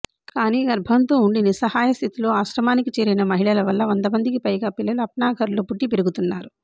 కానీ గర్భంతో ఉండి నిస్సహాయ స్థితిలో ఆశ్రమానికి చేరిన మహిళల వల్ల వందమందికి పైగా పిల్లలు అప్నాఘర్లో పుట్టి పెరుగుతున్నారు